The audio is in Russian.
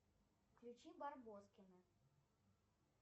включи барбоскины